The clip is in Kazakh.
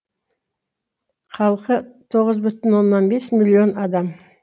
халқы тоғыз бүтін оннан бес миллион адам